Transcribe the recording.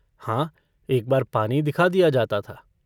हाँ एक बार पानी दिखा दिया जाता था।